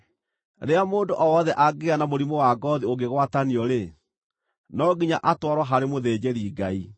“Rĩrĩa mũndũ o wothe angĩgĩa na mũrimũ wa ngoothi ũngĩgwatanio-rĩ, no nginya atwarwo harĩ mũthĩnjĩri-Ngai.